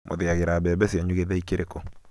mũthĩagira mbembe cianyu gĩthĩi kĩrĩkũ?